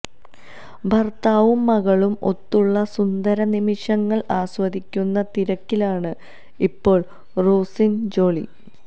ഭർത്താവും മകളും ഒത്തുള്ള സുന്ദര നിമിഷങ്ങൾ ആസ്വദിക്കുന്ന തിരക്കിലാണ് ഇപ്പോൾ റോസിന് ജോളി